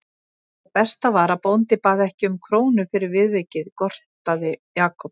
Og það besta var að bóndi bað ekki um krónu fyrir viðvikið gortaði Jakob.